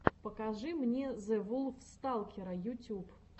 покажи мне зэвулфсталкера ютюб